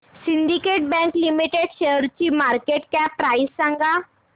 Syndicate bank limited शेअरची market cap price सांगा